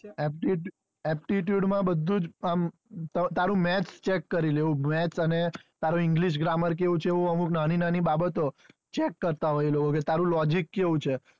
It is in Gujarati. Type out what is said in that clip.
aptitude માં બધુજ આમ તારું maths ચેક કરી લેવું maths અને english grammar કેવું છે એવું અમુક નાની નાની બાબતો ચેક કરતા હોય એ લોકો કે તારું logic કેવું છે,